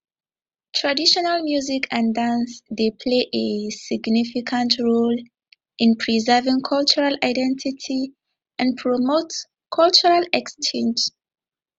traditional music and dance dey play a significant role in preserving cultural identity and promote cultural exchange